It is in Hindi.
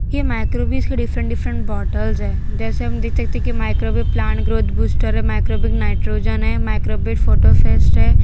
ये माइक्रोबे के डिफरेंट डिफरेंट बॉटल्स हैं जैसे हम देख सकते हैं कि माइक्रोबे प्लांट ग्रोथ बूस्टर है माइक्रोबे नाइट्रोजन है माइक्रोबे फास्फेट है।